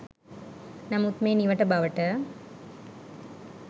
නමුත් මේ නිවට බවට